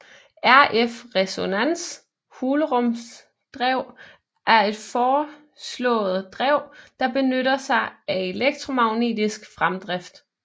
RF resonans hulrumsdrev er et foreslået drev der benytter sig af elektromagnetisk fremdrift